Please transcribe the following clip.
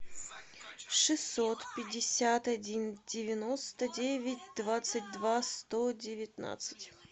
шестьсот пятьдесят один девяносто девять двадцать два сто девятнадцать